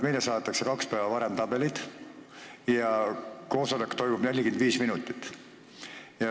Meile saadetakse kaks päeva varem tabelid ja koosolek kestab 45 minutit.